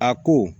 A ko